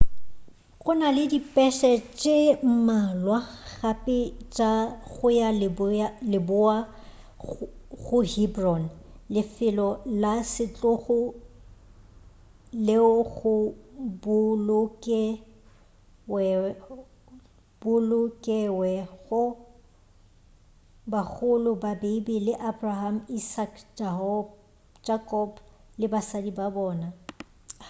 gona le dipese tše mmalwa gape tša go ya leboa go hebron lefelo la setlogo leo go bolokewego bagolo ba bibele abraham isaac jacob le basadi ba bona